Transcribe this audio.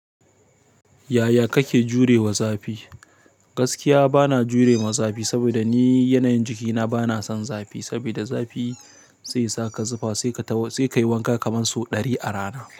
Yaya kake jure wa zafi? Gaskiya bana jure ma zafi, saboda ni yanayin jikina bana son zafi. Sabida zafi sesa ka zufa sai ka taho sai kai wanka kaman sau ɗari a rana.